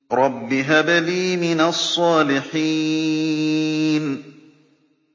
رَبِّ هَبْ لِي مِنَ الصَّالِحِينَ